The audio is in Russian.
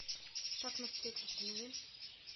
шаг на встречу установи